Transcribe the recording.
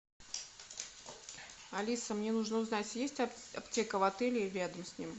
алиса мне нужно узнать есть аптека в отеле или рядом с ним